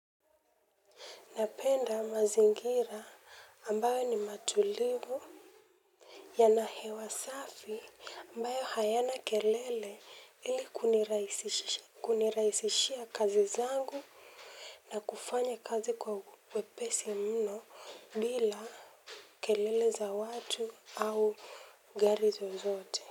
Napenda mazingira ambayo ni matulivu. Yana hewa safi ambayo hayana kelele ili kunirahisishia kazi zangu na kufanya kazi kwa uwepesi mno bila kelele za watu au gari zozote. Kwa hivyo.